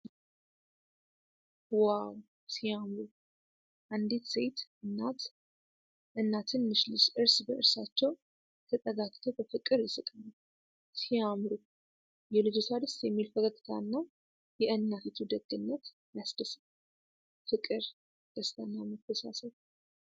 ዋው! ሲያምሩ! አንዲት ሴት እናት እና ትንሽ ልጅ እርስ በእርሳቸው ተጠጋግተው በፍቅር ይስቃሉ። ሲያምሩ! የልጅቷ ደስ የሚል ፈገግታና የእናቲቱ ደግነት ያስደስታል። ፍቅር፣ ደስታና መተሳሰብ!